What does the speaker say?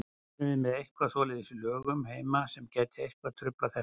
Erum við með eitthvað svoleiðis í lögum heima sem að gæti eitthvað truflað þetta?